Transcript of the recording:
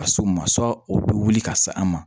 Ka s'o ma o bɛ wuli ka se an ma